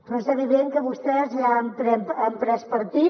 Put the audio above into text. però és evident que vostès ja han pres partit